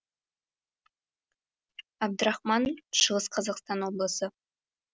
әбдірахман шығыс қазақстан облысы